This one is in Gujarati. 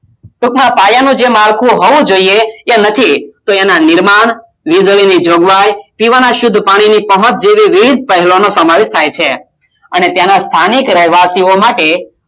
ટૂંકમાં પાયાનો જે માળખું હોવું જોઈએ કે નથી તો એના નિર્માણ વીજળીની જોગવાઈ પીવાના શુદ્ધ પાણીની પહોંચ જેવી વિવિધ પહેલાંનો સમાવેશ થાય છે અને ત્યાંનાં સ્થાનિક રહેવાસીઓ માટે